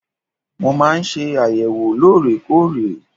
Mo máa ń ṣe àyẹ̀wò lóòrèkóòrè.